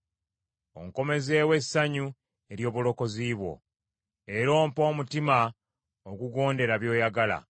Onkomezeewo essanyu ery’obulokozi bwo, era ompe omutima ogugondera by’oyagala,